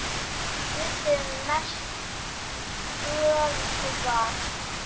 Kjötið er mest vöðvar.